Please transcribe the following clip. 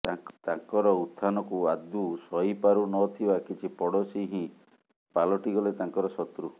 ତାଙ୍କର ଉତଥାନକୁ ଆଦୌ ସହି ପାରୁ ନ ଥିବା କିଛି ପଡ଼ୋଶୀ ହିଁ ପାଲଟିଗଲେ ତାଙ୍କର ଶତ୍ରୁ